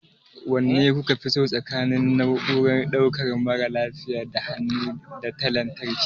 Wanne kuka fi so tsakanin na'urar ɗaukan mara lafiya ta hannu da ta lantarki?